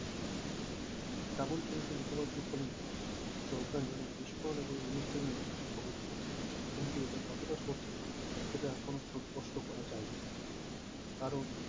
কাবুল পরিছো মুখপাত্র খুলি জরদান জানান বিস্ফোরণ এবং উন্নিশ জনের মৃত্যু খবর মিলেছে। কিন্তু এটা কতটা সত্যি এটা এখনো সুস্পষ্ট করা যায়নি কারণ